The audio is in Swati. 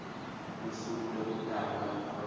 lusuku lekutalwa kwenkhosi